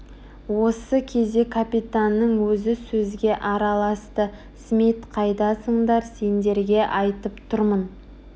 осы кезде капитанның өзі сөзге араласты смит қайдасыңдар сендерге айтып тұрмын